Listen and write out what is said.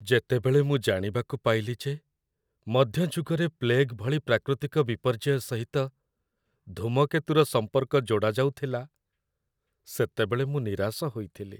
ଯେତେବେଳେ ମୁଁ ଜାଣିବାକୁ ପାଇଲି ଯେ ମଧ୍ୟଯୁଗରେ ପ୍ଲେଗ୍‌ ଭଳି ପ୍ରାକୃତିକ ବିପର୍ଯ୍ୟୟ ସହିତ ଧୂମକେତୁର ସମ୍ପର୍କ ଯୋଡ଼ାଯାଉଥିଲା, ସେତେବେଳେ ମୁଁ ନିରାଶ ହୋଇଥିଲି।